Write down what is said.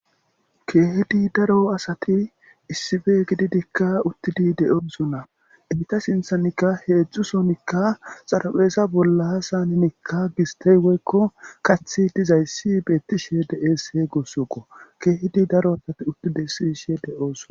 Keehidi daro asati issife gididikka uttidi de'oosona imita sinthanikka heedzdzu sonikka xarapheeza bolla saninikka gistey woykko kathi dizayssi beettishe deeese gussukko keehidi daro asati uttidi ssishe de'oosona.